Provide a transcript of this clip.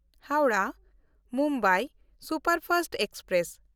ᱦᱟᱣᱲᱟᱦ–ᱢᱩᱢᱵᱟᱭ superfast express